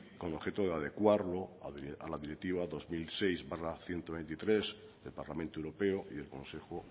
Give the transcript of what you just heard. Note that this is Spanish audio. con objeto de adecuarlo la directiva dos mil seis barra ciento veintitrés del parlamento europeo y del consejo